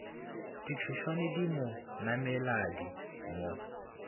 ditšhošwane di mo nameladi mo